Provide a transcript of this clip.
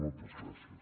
moltes gràcies